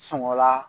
Sɔngɔ la